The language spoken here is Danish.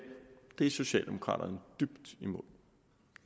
er socialdemokraterne dybt imod